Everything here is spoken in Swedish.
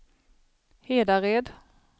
Hedared